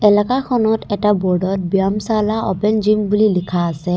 লাকাখনত এটা বোৰ্ডত ব্যমশালা অপেন জিম বুলি লিখা আছে।